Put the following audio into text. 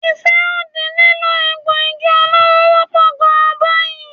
Ìfẹ́ òdì sí lílo egbò igi olóró wọ́pọ̀ gan báyìí.